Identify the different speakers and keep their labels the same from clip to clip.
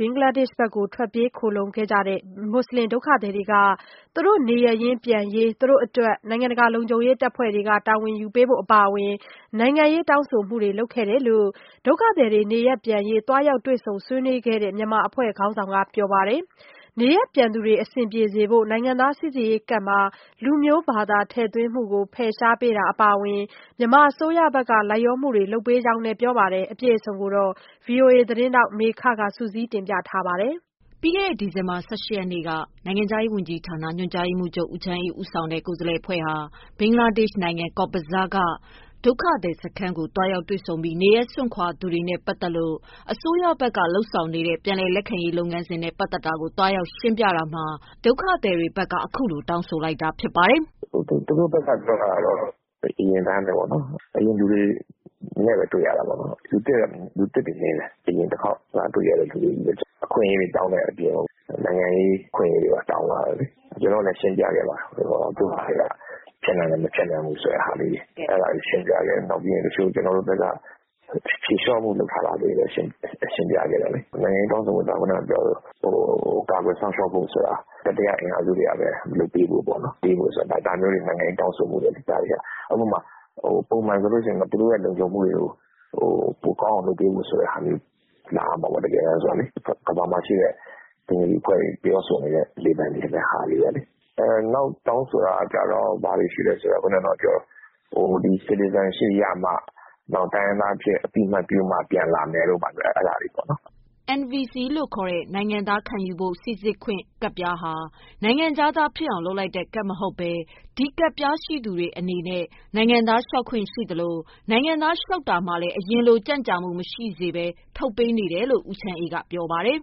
Speaker 1: ဘင်္ဂလားဒေ့ရှ်ကို ထွက်ပြေး ခိုလှုံခဲ့တဲ့ မွတ်ဆလင်ဒုက္ခသည် တွေက သူတို့ နေရပ်ပြန်ရေးမှာ သူတို့အတွက် နိုင်ငံတကာ လုံခြုံရေး တပ်ဖွဲ့တွေ တာဝန်ယူ ပေးဖို့ အပါအဝင် နိုင်ငံရေး တောင်းဆိုမှုတွေ လုပ်ခဲ့တယ်လို့ ဒုက္ခသည်တွေ နေရပ်ပြန်ရေး သွားရောက်တွေ့ဆုံ ဆွေးနွေးခဲ့တဲ့ မြန်မာအဖွဲ့ ခေါင်းဆောင်က ပြောပါတယ်။ နေရပ်ပြန်သူတွေ အဆင်ပြေစေဖို့ နိုင်ငံသားစီစစ်ရေး ကဒ်မှာ လူမျိုး- ဘာသာ ထည့်သွင်းမှုကို ဖယ်ရှားပေးတာ အပါအဝင် မြန်မာအစိုးရဘက်က လိုက်လျောမှုတွေ လုပ်ပေးနေကြောင်းလည်း ပြောပါတယ်။ဒီသတင်းကို ဗွီအိုအေသတင်းထောက်မေခကစုစည်းတင်ပြထားပါတယ်။ ပြီးခဲ့တဲ့ ဒီဇင်ဘာ ၁၈ရက်နေ့က နိုင်ငံခြားရေးဝန်ကြီးဌာနက ညွှန်ကြားရေးမှူးချုပ် ဦးချမ်းအေး ဦးဆောင်တဲ့ ကိုယ်စားလှယ် အဖွဲ့ ဟာ ဘင်္ဂလားဒေ့ရှ် ကော့ဘဇားက ဒုက္ခသည်စခန်းကို သွားရောက်တွေ့ဆုံပြီး နေရပ်စွန့်ခွာသူတွေနဲ့ပတ်သတ်လို့ မြန်မာအစိုးရ ဘက်ကလုပ်ဆောင်နေတဲ့ ပြန်လည်လက်ခံရေးလုပ်ငန်းစဉ်နဲ့ပတ်သတ်တာကို သွားရောက်ရှင်းပြတာမှာ ဒုက္ခသည်တွေဘက်က ခုလိုတောင်းဆိုလိုက်တာ ဖြစ်ပါတယ်
Speaker 2: ။ “သူတို့ဘက်ကပြောတာကတော့ အရင်အတိုင်းဘဲပေါ့နော်။ တွေ့ရတာကလည်း အရင်လူတွေနဲ့ဘဲ တွေ့ရတာပါ။ လူသစ်နည်းပါတယ်။ အခွင့်အရေးတွေတောင်းတဲ့ အပြင်နိုင်ငံရေး အခွင့်အရေးတွေလည်း တောင်းလာတယ်လေ။ ကျနော်တို့ လည်းရှင်းပြခဲ့ပါတယ်။ တချို့ဟာတွေက ဖြစ်နိုင်တယ်၊ မဖြစ်နိုင်ဘူးဆိုတာ။ နောက်ကျနော်တို့ဘက်က ဖြေလျော့မှုတွေလည်း ရှင်းပြခဲ့တယ်။ နိုင်ငံရေး တောင်းဆိုမှုဆိုတာ သူတို့ကို ကာကွယ်စောင့်ရှောက်ဖို့အတွက် တတိယအင်အားစုတွေကဘဲ လုပ်ပေးဖို့ပေါ့နော်။ ဒီလိုနိုင်ငံရေးတောင်းဆိုမှုတွေလုပ်တယ်။ ပုံမှန်ဆိုရင်တော့ သူတို့လုံခြုံရေးကို ပိုကောင်းအောင် လုပ်ဖို့လာရမှာပေါ့၊ ကမ္ဘာမှာရှိတဲ့ ဘင်္ဂလီအဖွဲ့တွေ တောင်းဆိုနေတာမျိုးတွေ တောင်းဆိုလာတယ်။ နောက်တောင်းဆိုတာကတော့ နိုင်ငံသား Citizenship ပေးဖို့ နောက်တိုင်း ရင်း သားလို့ အသိအမှတ်ပြုမှ ပြန်လာမယ်တို့ပေါ့နော်”
Speaker 1: NVC နိုင်ငံသားခံယူဖို့စိစစ်ခွင့် ကဒ်ပြားဟာ နိုင်ငံခြားသားဖြစ်အောင်လုပ်လိုက်တဲ့ကဒ်မဟုတ်ဘဲ ဒီကဒ်ပြားရှိသူတွေအနေနဲ့ နိုင်ငံသားလျှောက်ခွင့်ရှိသလို နိုင်ငံသားလျှောက်တာမှာလည်း အရင်လိုကြန့်ကြာမှုမရှိစေဘဲ ထုတ်ပေးနေတယ်လို့ ဦးချမ်းအေး ကပြောပါတယ်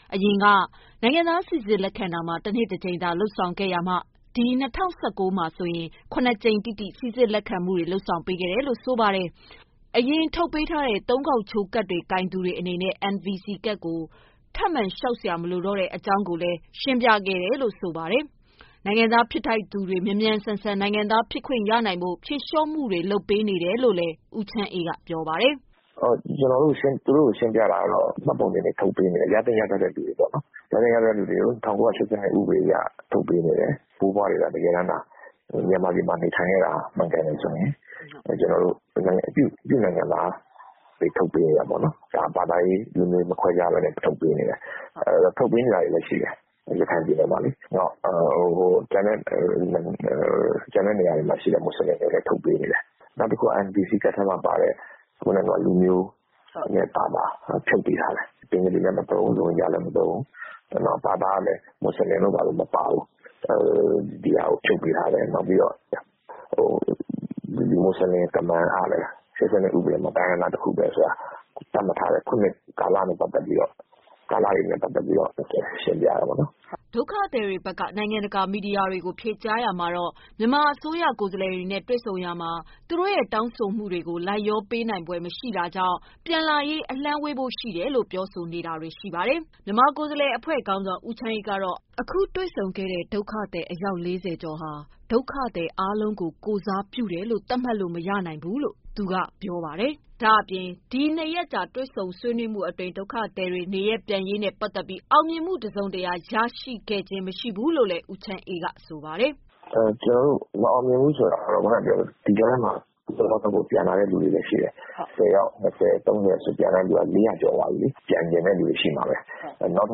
Speaker 1: ။ အရင်ကလို နိုင်ငံသားစိစစ်လက်ခံတာမှာ တနှစ်တကြိမ်သာလုပ်ဆောင်လာရာမှ ဒီ ၂၀၁၉မှာဆိုရင် ၇ကြိမ်တိတိ စိစစ်လက်ခံမှုတွေ လုပ်ဆောင်ပေးခဲ့တယ်လို့ဆိုပါတယ်။ အရင်ထုတ်ပေးထားတဲ့ ၃ခေါက်ချိုးကဒ်တွေကိုင်သူတွေအနေနဲ့ NVC ကဒ်လျှောက်စရာမလိုတော့တာကို ရှင်းပြခဲ့တယ်လို့ဆိုပါတယ်။ နိုင်ငံသား ဖြစ်ထိုက်သူတွေ မြန်မြန်ဆန်ဆန် နိုင်ငံသားဖြစ်ခွင့်ရနိုင်ဖို့ ဖြေ လျော့မှုတွေ လုပ်ပေးနေတယ်လို့ ပြောပါတယ်။
Speaker 2: “သူတို့ကို ရှင်းပြတာကတော့ မှတ်ပုံတင်တွေထုတ်ပေးနေတယ်။ ရသင့်ရထိုက်သူတွေကို ၁၉၈၂ ဥပဒေနဲ့ အညီ ထုတ်ပေးနေတယ်၊ သူတို့ ဘိုးဘွားတွေ မြန်မာပြည်မှာနေခဲ့တာမှန်ရင် သူတို့က ပြုနိုင်ငံသား လျှောက်ခွင့် ရှိတယ်။ ထုတ်ပေးနေတယ်။ ဘာသာရေး၊ လူမျိုးရေး မခွဲဘဲထုတ်ပေးနေတယ်။ ရခိုင်မှာလည်း ထုတ်ပေးနေတာရှိတယ်။ ကျန်တဲ့နေရာက မွတ်ဆလင်တွေကိုလည်း ထုတ်ပေး နေတယ်။ နောက် NVC ကဒ်ထဲမှာ လူမျိုးဘာသာ ဆိုတာကို ဖြုတ်ပေးထားတယ်။ ဘင်္ဂလီလည်းမသုံးဘူး၊ ရိုဟင်ဂျာ လည်း မသုံးဘူး။ ဘာသာကလည်း မွတ်ဆလင် မပါဘူး။ ဖြုတ်ပေးထားတယ်။ မွတ်ဆလင်၊ ကမန်ကလည်း ၁၉၈၂ အရ တိုင်းရင်းသားတခုဘဲဆိုတာ သတ်မှတ်ထားတယ်။ အဲဒါကို ခုနှစ်တွေနဲ့ အလိုက်ရှင်းပြထားတယ်”
Speaker 1: ဒုက္ခသည်တွေဘက်က နိုင်ငံတကာမီဒီယာတွေကို ဖြေကြားရာမှာတော့ မြန်မာ အစိုးရ ကိုယ်စားလှယ်နဲ့ တွေ့ဆုံရာမှာ သူတို့ရဲ့ တောင်းဆိုမှုတွေကိုလိုက် လျောပေးနိုင်ဖွယ်မရှိတာ ကြောင့် ပြန်လာရေးက အလှမ်းဝေးဖို့ရှိတယ်လို့ ပြောဆိုခဲ့တာ တွေ့ရ ပါတယ်။ မြန်မာကိုယ်စားလှယ်အဖွဲ့ ခေါင်းဆောင် ဦးချမ်းအေးကတော့ အခု ဒုက္ခသည် စခန်းမှာ တွေ့ဆုံခဲ့ရတဲ့ ဒုက္ခသည် ၄၀ ကျော်ဟာ စခန်းထဲက လူအားလုံးကို ကိုယ်စားပြုသတ်မှတ်လို့ မရနိုင်ဘူးလို့ ပြောပါတယ်။ ဒါ့အပြင် အခု ၂ရက်ကြာ တွေ့ဆုံဆွေး နွေးမှုအတွင်း ဒုက္ခသည်တွေ နေရပ် ပြန်ရေးနဲ့ ပတ်သက်ပြီး အောင်မြင်မှုတစုံတရာ ရရှိခဲ့ခြင်းမရှိဘူးလို့ ဦးချမ်းအေးက ပြောပါတယ်
Speaker 2: ။ “ ကျနော်တို့က မအောင်မြင်ဘူးဆိုတာကလေ ခုနပြောသလိုပေါ့ ဒီကြားထဲမှာ ပြန်လာသူတွေလည်းရှိတယ်။ ၂၀- ၃၀ နဲ့ ပြန်လာတာ အခုဆို အယောက် ၄၀၀ကျော်ပြီပေါ့။ ပြန်ချင်သူတွေရှိမှာဘဲ။ နောက်တ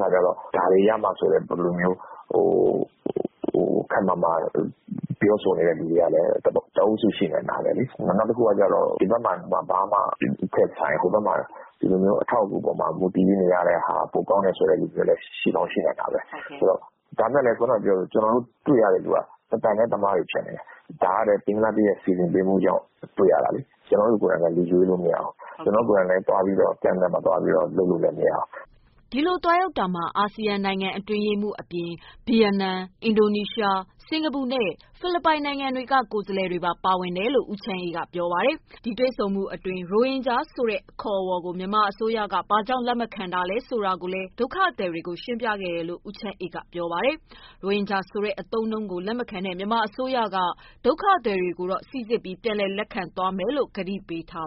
Speaker 2: ခါကျတော့ ဒါတွေရမှ ဆိုတဲ့ ခပ်မာမာ ပြောတဲ့အုပ်စု လည်းရှိနိုင်တာဘဲ။ နောက်တခုကတော့ ဒီဘက်မှာထက်စာရင်ဟိုဘက်မှာ နေရတာပိုကောင်းတယ် ဆိုတဲ့လူတွေလည်း ရှိကောင်းရှိမယ်။ ကျနော်တို့ တွေ့ရသူတွေက တသံထဲသမားတွေဖြစ်နေတယ်။ ဒါကလည်း ဘင်္ဂလားဒေရှ်ဘက်က စီစဉ်ပေးမှရတာလေ။ ကျနော်တို့က လူရွေးလို့မရဘူး ကျနော်တို့ ကိုယ်တိုင်လည်း camp ထဲသွားပြီးတော့ လုပ်လို့”
Speaker 1: ဒီလိုသွားရောက်တာမှာ အာဆီယံနိုင်ငံ အတွင်းရေးမှူး၊ အပြင်ဗီယမ်နမ်၊ အင်ဒိုနီးရှား၊ စင်ကာပူနဲ့ ဖိလစ်ပိုင် နိုင်ငံဘက်က ကိုယ်စားလှယ် တွေပါဝင်ခဲ့တယ်လို့လည်း ဦးချမ်းအေးကပြောပါတယ်။ ဒီတွေ့ဆုံမှုအတွင်း ရိုဟင်ဂျာဆိုတဲ့ အခေါ်အဝေါ်ကို မြန်မာအစိုးရက ဘာ့ကြောင့် လက်မခံနိုင်တာလဲ ဆိုတာကို ဒုက္ခသည်တွေကို ရှင်းပြခဲ့တယ်လို့ ဦးချမ်းအေးက ပြောပါတယ်။ရိုဟင်ဂျာဆိုတဲ့အသုံးအနှုန်းကို လက်မခံတဲ့ မြန်မာအစိုးရက ဒုက္ခသည်တွေကိုတော့ စီစစ်ပြီး ပြန်လည်လက်ခံသွားမယ်လို့ ကတိပေးထားတ